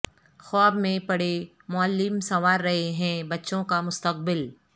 خواب میں پڑے معلم سنوار رہے ہیں بچوں کامستقبل